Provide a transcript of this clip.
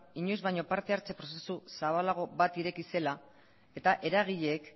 inoiz baino partehartze prozesu zabalago bat ireki zela eta eragileek